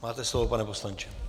Máte slovo, pane poslanče.